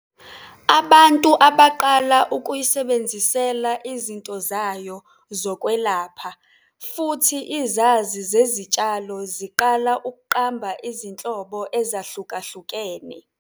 Abantu baqala ukuyisebenzisela izinto zayo zokwelapha futhi izazi zezitshalo zaqala ukuqamba izinhlobo ezahlukahlukene.